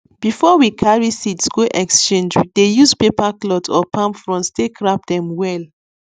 before we carry seeds go exchange we dey use paper cloth or palm fronds take wrap dem well